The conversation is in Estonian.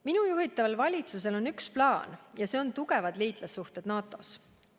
Minu juhitaval valitsusel on plaan, ja see on tagada tugevad liitlassuhted NATO‑s.